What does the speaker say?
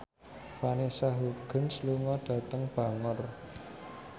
Vanessa Hudgens lunga dhateng Bangor